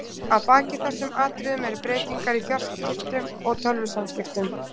Að baki þessum atriðum eru breytingar á fjarskiptum og tölvusamskiptum.